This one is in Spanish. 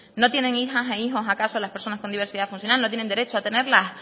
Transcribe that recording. no tienen hijas e hijos acaso las personas con diversidad funcional no tienen derecho a tenerlas